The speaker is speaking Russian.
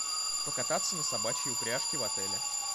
покататься на собачьей упряжке в отеле